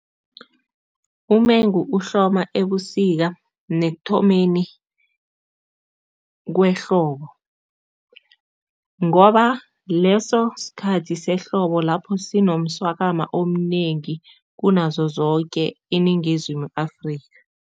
Umengu uhloma ebusika nekuthomeni kwehlobo ngoba leso sikhathi sehlobo, lapho sinomswakama omnengi kunazo zoke iNingizimu Afrika.